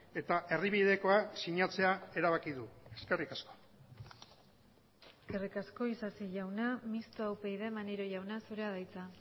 eta erdibidekoa sinatzea erabaki du eskerrik asko eskerrik asko isasi jauna mistoa upyd maneiro jauna zurea da hitza